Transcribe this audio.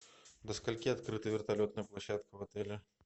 до скольки открыта вертолетная площадка в отеле